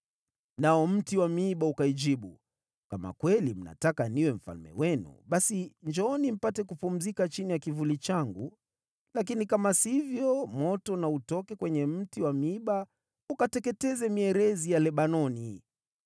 “Nao mti wa miiba ukaijibu, ‘Kama kweli mnataka niwe mfalme wenu, basi njooni mpate kupumzika chini ya kivuli changu. Lakini kama sivyo, moto na utoke kwenye mti wa miiba ukateketeze mierezi ya Lebanoni!’